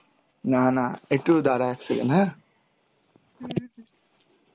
না না একটু দাঁড়া এক second হ্যাঁ,